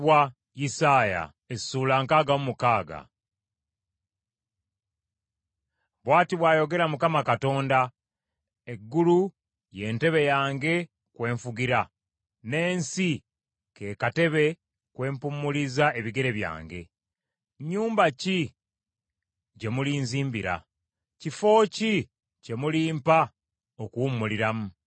Bw’ati bw’ayogera Mukama Katonda, “Eggulu y’entebe yange kwe nfugira n’ensi ke katebe kwe mpummuliza ebigere byange, nnyumba ki gye mulinzimbira? Kifo ki kye mulimpa okuwummuliramu?